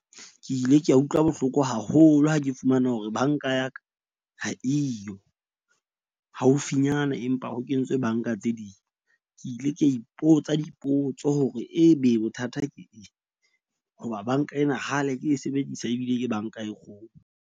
Ke ile ka utlwa bohloko haholo ha ke fumana hore bank-a ya ka ha eyo haufinyana, empa ho kentswe bank-a tse ding. Ke ile ka ipotsa dipotso hore ebe bothata ke eng. Hoba bank-a ena kgale ke e sebedisa ebile ke bank-a e kgolo.